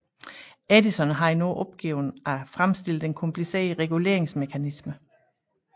Edison havde nu opgivet at fremstille den komplicerede reguleringsmekanisme